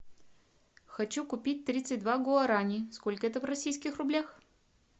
хочу купить тридцать два гуарани сколько это в российских рублях